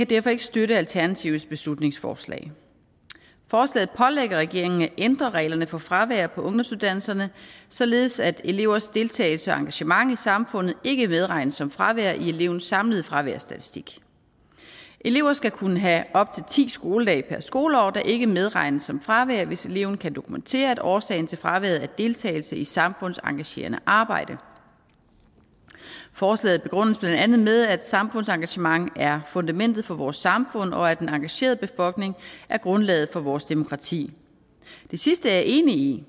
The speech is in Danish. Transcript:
derfor ikke støtte alternativets beslutningsforslag forslaget pålægger regeringen at ændre reglerne for fravær på ungdomsuddannelserne således at elevers deltagelse og engagement i samfundet ikke medregnes som fravær i elevens samlede fraværsstatistik elever skal kunne have op til ti skoledage per skoleår der ikke medregnes som fravær hvis eleven kan dokumentere at årsagen til fraværet er deltagelse i samfundsengagerende arbejde forslaget begrundes blandt andet med at samfundsengagement er fundamentet for vores samfund og at den engagerede befolkning er grundlaget for vores demokrati det sidste er jeg enig i